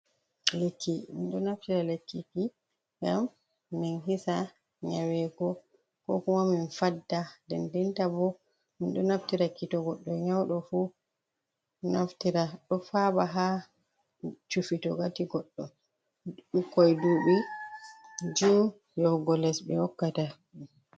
Lekki minɗo naftira lekki ki ngam min hisa nyarego, ko kumamin fadda, ndendinta bo min ɗo naftira ki to goɗɗo nyauɗo fu naftira ɗo faɓa ha cufi to ngati goɗɗo ɓukkoi dubi jui yohugo les ɓe hokkata.